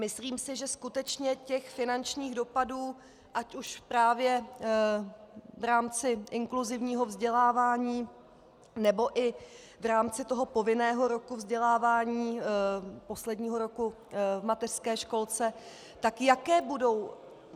Myslím si, že skutečně těch finančních dopadů, ať už právě v rámci inkluzivního vzdělávání, anebo i v rámci toho povinného roku vzdělávání, posledního roku v mateřské školce - tak jaké budou?